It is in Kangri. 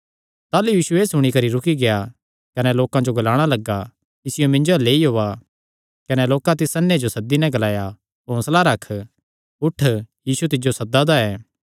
ताह़लू यीशु एह़ सुणी करी रुकी गेआ कने ग्लाणा लग्गा इसियो सद्दा कने लोकां तिस अन्ने जो सद्दी नैं तिसियो ग्लाया हौंसला रख उठ यीशु तिज्जो सद्दा दा ऐ